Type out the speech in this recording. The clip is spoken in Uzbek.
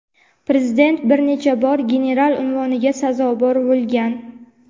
Prezident bir necha bor general unvoniga sazovor bo‘lgan.